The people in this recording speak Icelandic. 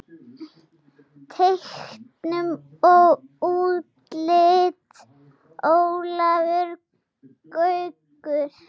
Teiknun og útlit Ólafur Gaukur.